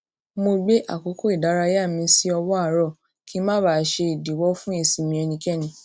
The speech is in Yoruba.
mo gbé àkókò ìdárayá mi sí ọwọ àárọ kí n má baà ṣe ìdíwọ fún ìsinmi ẹnikẹni